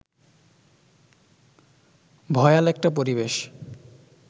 ভয়াল একটা পরিবেশ